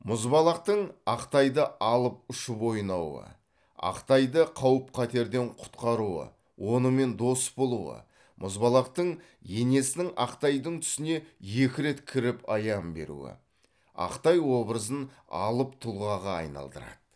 мұзбалақтың ақтайды алып ұшып ойнауы ақтайды қауіп қатерден құтқаруы онымен дос болуы мұзбалақтың енесінің ақтайдың түсіне екі рет кіріп аян беруі ақтай образын алып тұлғаға айналдырады